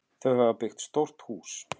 Þau hafa byggt stórt hús.